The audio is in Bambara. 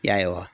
Ya